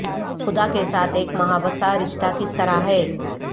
خدا کے ساتھ ایک مباحثہ رشتہ کس طرح ہے